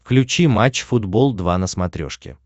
включи матч футбол два на смотрешке